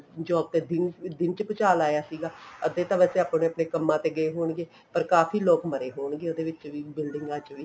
job ਤੇ ਦਿਨ ਦਿਨ ਚ ਭੂਚਾਲ ਆਇਆ ਸੀਗਾ ਅੱਧੇ ਤਾਂ ਬੱਚੇ ਵੈਸੇ ਆਪਣੇ ਕੰਮਾ ਤੇ ਗਏ ਹੋਣਗੇ ਪਰ ਕਾਫੀ ਲੋਕ ਮਰੇ ਹੋਣਗੇ ਉਹਦੇ ਵਿੱਚ ਵੀ ਬਿਲਡਿੰਗਾਂ ਚ ਵੀ